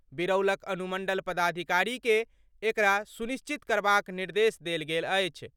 बिरौलक अनुमण्डल पदाधिकारी के एकरा सुनिश्चित करबाक निर्देश देल गेल अछि।